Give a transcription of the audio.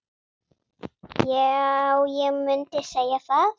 Já, ég mundi segja það.